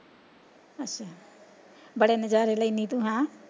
ਬੜੇ ਨਜਾਰੇ ਲੈਂਦੇ ਤੂੰ ਹੈਂ।